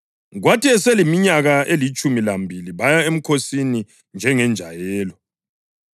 Kwathi eseleminyaka elitshumi lambili baya emkhosini njengenjayelo.